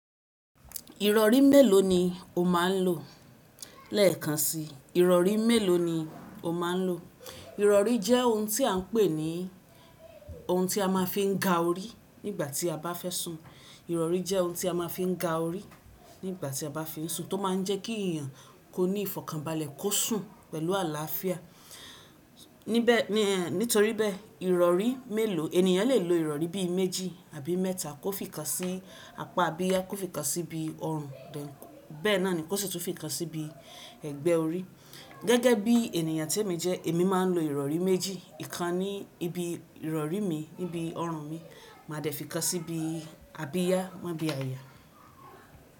Ìrọ̀rí mélòó ni o máa ń lò léèkan sí? Ìrọ̀rí mélòó ni o máa ń lò? Ìrọ̀rí jẹ́ ohun tí a ń pè ní ohun tí a máa fi ń ga orí nígbà tí a bá fẹ́ sùn. Ìrọ̀rí jẹ́ ohun tí a má fi ń ga orí nígbà tí a bá fẹ́ sùn tó máa ń jẹ́ kí i yàn kó ní ìfọ̀kànbalẹ̀ kó sùn pẹ̀lú àlàáfíà. Nítorí bẹ̀, ìrọ̀rí mélòó ènìyàn lè lo ìrọ̀rí bí i méjì àbí mẹ́ta kó fi kan sí apá abiyá, kó fi kan sí ibi ọrùn, bẹ́ẹ̀ náà ni kó sì tún fi kan sí bi ẹ̀gbẹ́ orí. Gẹ́gẹ́ bí ènìyàn te mi jẹ́, èmi máa ń lo ìrọ̀rí méjì. Ìkan ní ibi ìrọ̀rí mi níbi ọrùn mi, màá dẹ̀ fi kan sí ibi abiyá má bí àyà.